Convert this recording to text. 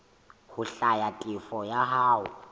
ho hlwaya tefo ya hao